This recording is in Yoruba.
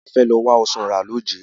A fẹ́ lọ wá ọsàn rà lójé.